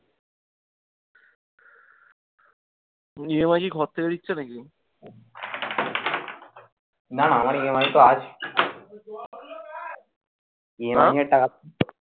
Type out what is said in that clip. EMI কি ঘর থেকে দিচ্ছে নাকি? হ্যাঁ